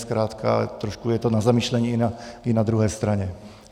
Zkrátka trošku je to na zamyšlení i na druhé straně.